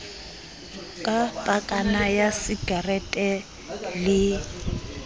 ka pakana ya sakarete le